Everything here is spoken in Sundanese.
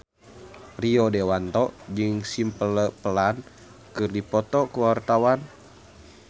Rio Dewanto jeung Simple Plan keur dipoto ku wartawan